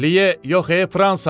Liye yox, e, Fransa!